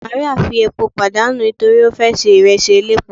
Mary fi epo padanu nitori o fe se iresi elépo